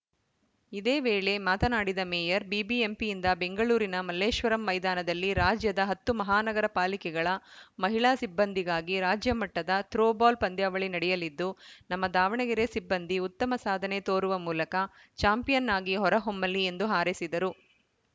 ಇದೇ ವೇಳೆ ಮಾತನಾಡಿದ ಮೇಯರ್‌ ಬಿಬಿಎಂಪಿಯಿಂದ ಬೆಂಗಳೂರಿನ ಮಲ್ಲೇಶ್ವರಂ ಮೈದಾನದಲ್ಲಿ ರಾಜ್ಯದ ಹತ್ತು ಮಹಾನಗರ ಪಾಲಿಕೆಗಳ ಮಹಿಳಾ ಸಿಬ್ಬಂದಿಗಾಗಿ ರಾಜ್ಯಮಟ್ಟದ ಥ್ರೋ ಬಾಲ್‌ ಪಂದ್ಯಾವಳಿ ನಡೆಯಲಿದ್ದು ನಮ್ಮ ದಾವಣಗೆರೆ ಸಿಬ್ಬಂದಿ ಉತ್ತಮ ಸಾಧನೆ ತೋರುವ ಮೂಲಕ ಚಾಂಪಿಯನ್‌ ಆಗಿ ಹೊರ ಹೊಮ್ಮಲಿ ಎಂದು ಹಾರೈಸಿದರು